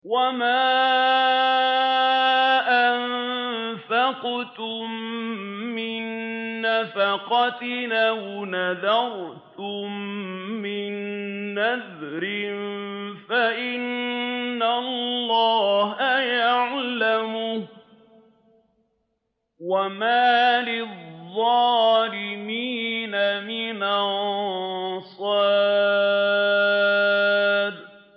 وَمَا أَنفَقْتُم مِّن نَّفَقَةٍ أَوْ نَذَرْتُم مِّن نَّذْرٍ فَإِنَّ اللَّهَ يَعْلَمُهُ ۗ وَمَا لِلظَّالِمِينَ مِنْ أَنصَارٍ